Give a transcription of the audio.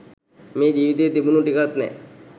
මේ ජීවිතයේ තිබුණු ටිකත් නෑ.